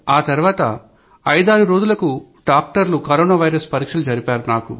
ఆతర్వాత ఐదారు రోజులకు డాక్టర్లు కరోనా వైరస్ పరీక్షలు జరిపారు